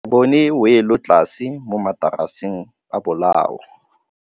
Re bone wêlôtlasê mo mataraseng a bolaô.